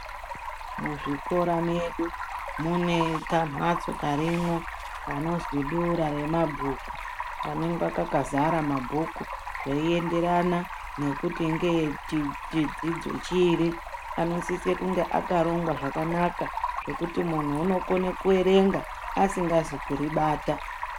Muzvikora mwedu mune kamhatso karimwo kanozwi dura rema bhuku kanenge kakazara mabhuku, zveienderana nekuti ngeechidzidzo chiri, anosise kunge akarongwa zvakanaka zvokuti munhu unokone kuerenga asingazi kuri bata.